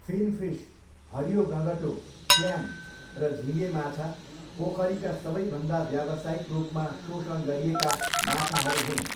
Finfish, हरियो गँगटो, clam र झिँगेमाछा पोखरीका सबैभन्दा व्यावसायिक रूपमा शोषण गरिएका माछाहरू हुन्।